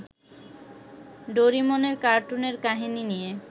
ডোরিমনের কার্টুনের কাহিনী নিয়ে